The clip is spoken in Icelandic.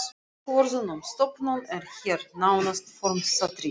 Ákvörðun um stofnun er hér nánast formsatriði.